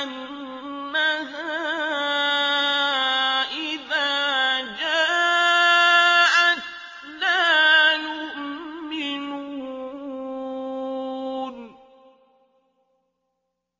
أَنَّهَا إِذَا جَاءَتْ لَا يُؤْمِنُونَ